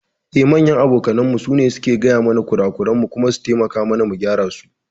Eh, manyan abokanmu su ne suke gaya mana kurakuran mu kuma su taimaka mana mu gyara su.